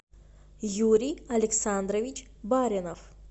юрий александрович баринов